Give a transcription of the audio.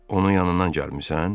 Onun yanından gəlmisən?